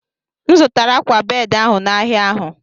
M zụtara akwa bedị ahụ n'ahịa ahụ.